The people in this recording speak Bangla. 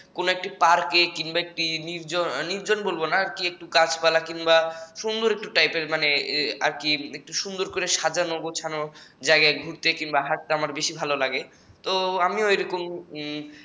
কোন একটি পার্কে কিংবা একটু নির্জন নির্জন বলবো না কি একটু গাছপালা মানে আর কি একটু সুন্দর করে সাজানো গোছানো জায়গায় ঘুরতে কিংবা হাঁটতে আমার বেশি ভালো লাগে